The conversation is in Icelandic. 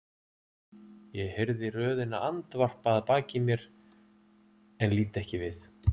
Ég heyri röðina andvarpa að baki mér en lít ekki við.